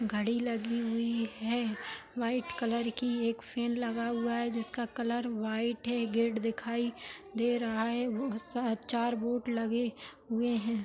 घड़ी लगी हुई है वाइट कलर कि एक फेन लगा हुआ है जिसका कलर वाइट है गेट दिखाई दे रहा है बहुत सा चार बोर्ड लगे हुए हैं ।